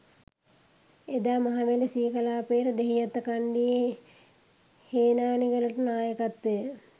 එදා මහවැලි සී කලාපයට දෙහිඅත්තකණ්ඩියේ හේනානිගලට නායකත්වය